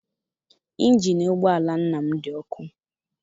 Injini ụgbọala nna m dị ọkụ.